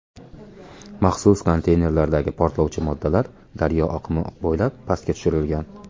Maxsus konteynerlardagi portlovchi moddalar daryo oqimi bo‘ylab pastga tushirilgan.